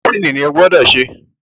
Mẹ́dísìnì ni o gbọ́dọ̀ se